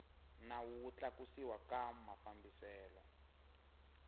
nawu wo tlakusiwa ka mafambiselo